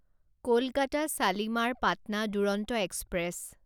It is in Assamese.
কলকাতা শালিমাৰ পাটনা দুৰন্ত এক্সপ্ৰেছ